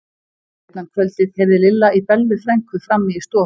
Seinna um kvöldið heyrði Lilla í Bellu frænku frammi í stofu.